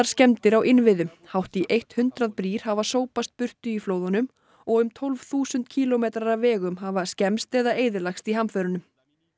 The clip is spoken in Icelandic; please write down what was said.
skemmdir á innviðum hátt í eitt hundrað brýr hafa sópast burt í flóðunum og um tólf þúsund kílómetrar af vegum hafa skemmst eða eyðilagst í hamförunum